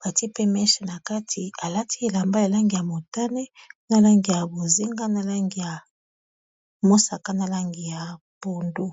batie pe meshe na kati alati elamba ya langi ya motane na langi ya bozenga alangmosaka na langi ya pondu